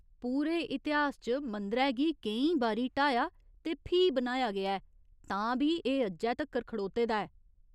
पूरे इतिहास च मंदरै गी केईं बारी ढाया ते फ्ही बनाया गेआ ऐ, तां बी एह् अज्जै तक्कर खड़ोते दा ऐ!